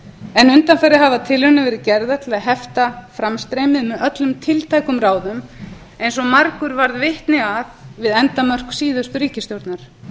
en undanfarið hafa tilraunir verið gerðar til að hefta framstreymið með öllum tiltækum ráðum eins og margur varð vitni að við endamörk síðustu ríkisstjórnar